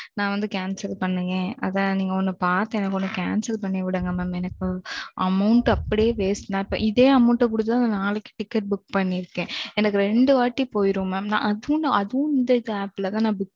நா வந்து Cancel பண்ணுங்க அதான் நீங்க வந்து எனக்கு Cancel பண்ணி விடுங்க மாம் Amount அப்டியே Waste இதே amount குடுத்து தான் நா நாளைக்கு Ticket Book பண்ணிருக்கேன் எனக்கு ரெண்டு வாட்டி போயிரும் மாம் அதுவும் இந்த ஆப்ல தான் புக்